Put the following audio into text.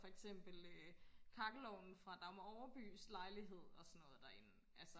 for eksempel øh kakkelovnen fra Dagmar Overbys lejlighed derinde og sådan noget derinde